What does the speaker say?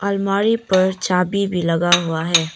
अलमारी पर चाभी भी लगा हुआ है।